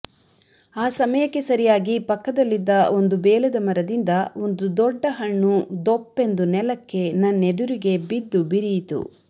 ಆ ಸಮಯಕ್ಕೆ ಸರಿಯಾಗಿ ಪಕ್ಕದಲ್ಲಿದ್ದ ಒಂದು ಬೇಲದ ಮರದಿಂದ ಒಂದು ದೊಡ್ಡ ಹಣ್ಣು ದೊಪ್ಪೆಂದು ನೆಲಕ್ಕೆ ನನ್ನದೆರುಗೇ ಬಿದ್ದು ಬಿರಿಯಿತು